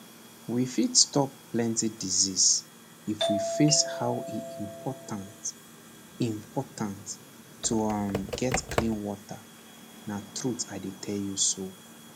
we fit stop plenty disease if we face how e dey important important to um get clean water na truth i dey tell you so